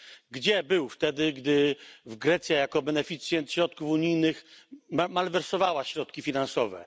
Gdzie był wtedy, gdy Grecja jako beneficjent środków unijnych malwersowała środki finansowe?